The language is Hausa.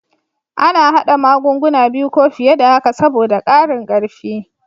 A na hada magunguna biyu ko fiye da haka saboda ƙarin karfi